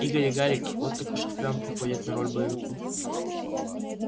игорь и гарик вот уж кто и впрямь подходит на роль боевиков